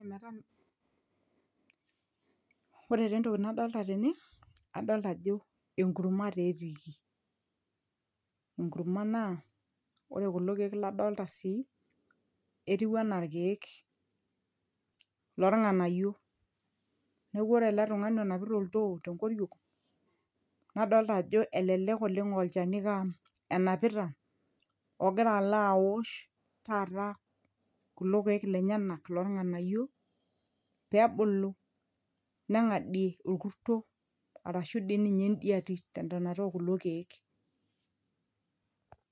ometam, ore taa entoki nadolta tene adolta ajo enkurma taa etiiki enkurma naa ore kulo keek ladolta sii netiu anaa irkeek lorng'ayio neeku ore ele tung'ani onapita oltoo tenkoriong nadolta ajo elelek oleng aa olchani iko aa enapita ogira alo awosh taata kulo keek lenyenak lolng'anayio peebulu neng'adie orkurto arashu dii ninye endiatitentonata okulo kiek.